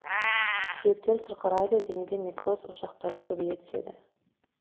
сүйектер сырқырайды денеде некроз ошақтары көбейе түседі